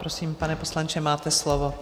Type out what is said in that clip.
Prosím, pane poslanče, máte slovo.